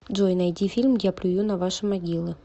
джой найди фильм я плюю на ваши могилы